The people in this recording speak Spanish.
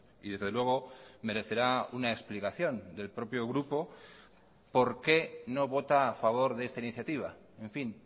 y desde luego merecerá una explicación del propio grupo por qué no vota a favor de esta iniciativa en fin